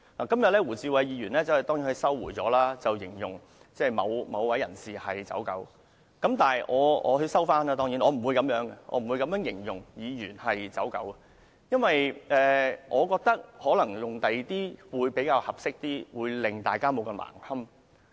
今天胡志偉議員當然收回了把某位人士形容為"走狗"的言論，當然，我不會把議員形容為"走狗"，因為我覺得可能用其他字眼會較為合適，大家不會太難堪。